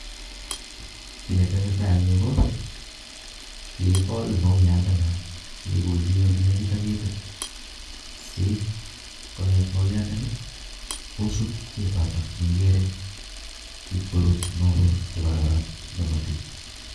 Kii nee tesetai eng Yu ko kikokol mauyat nda noo kekolchi olee negit ak ketit si konget mauyandani kosub ketotok nee ikere kib korut mauwek che kororon nee motii